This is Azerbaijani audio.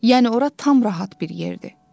Yəni ora tam rahat bir yerdir.